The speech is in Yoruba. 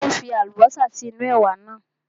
Ó ń fi Àlùbọ́sà sí inú ẹ̀wà náà